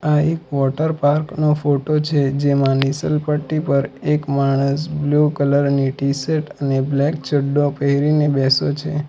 આ એક વોટરપાર્ક નો ફોટો છે જેમા નીશલ પટ્ટી પર એક માણસ બ્લુ કલર ની ટી-શર્ટ અને બ્લેક ચડ્ડો પહેરીને બેસો છે.